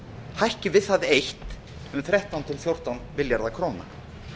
hækki við það eitt um þrettán til fjórtán milljarða króna